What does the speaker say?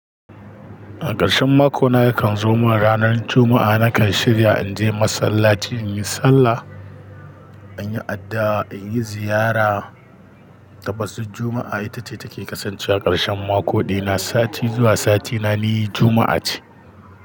A ƙarshen mako na yakan zo min ranar Juma'a nakan shirya in je masallaci in yi sallah, in yi addu'a, in yi ziyara. Tabbas Juma'a ita ce take kasancewa ƙarshen makoɗina, sati zuwa sati na ni Juma'a ce.